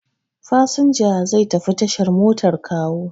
Fasinja zai tafi tashar motar Kawo.